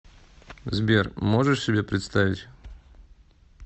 сбер можешь себе представить